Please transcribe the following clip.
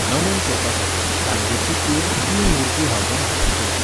नमन करपाखातीर गांधीची कूड तीन मूर्ती हावजात हाडची पडली.